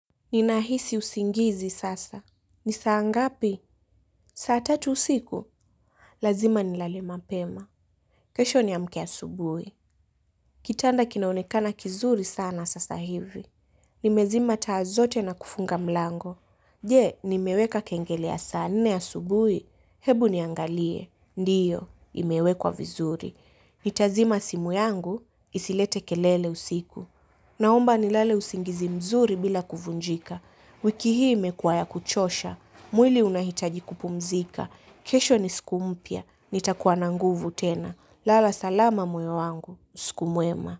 Ninahisi usingizi sasa. Ni saa ngapi? Saa tatu usiku? Lazima nilale mapema. Kesho niamke asubui. Kitanda kinaonekana kizuri sana sasa hivi. Nimezima taa zote na kufunga mlango. Je, nimeweka kengele ya saa nne asubui? Hebu niangalie. Ndiyo, imewekwa vizuri. Nitazima simu yangu, isilete kelele usiku. Naomba nilale usingizi mzuri bila kuvunjika. Wiki hii imekuwa ya kuchosha, mwili unahitaji kupumzika. Kesho ni siku mpya, nitakuwa na nguvu tena. Lala salama moyo wangu, usiku mwema.